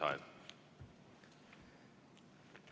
Kaks minutit lisaaega.